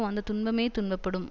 வந்த துன்பமே துன்பப்படும்